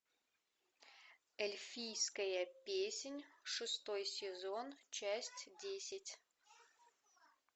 эльфийская песнь шестой сезон часть десять